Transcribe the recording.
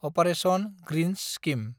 operation greens scheme